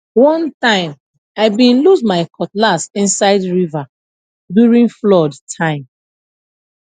one time i been lose my cutlass inside river during flood time